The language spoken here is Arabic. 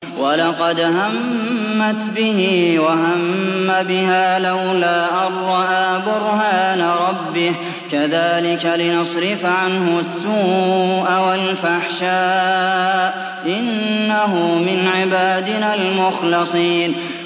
وَلَقَدْ هَمَّتْ بِهِ ۖ وَهَمَّ بِهَا لَوْلَا أَن رَّأَىٰ بُرْهَانَ رَبِّهِ ۚ كَذَٰلِكَ لِنَصْرِفَ عَنْهُ السُّوءَ وَالْفَحْشَاءَ ۚ إِنَّهُ مِنْ عِبَادِنَا الْمُخْلَصِينَ